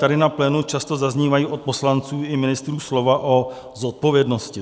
Tady na plénu často zaznívají od poslanců i ministrů slova o zodpovědnosti.